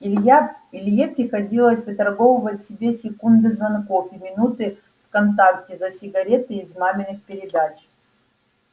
илья илье приходилось выторговывать себе секунды звонков и минуты в вконтакте за сигареты из маминых передач